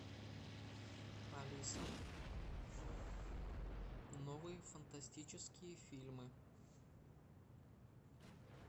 алиса новые фантастические фильмы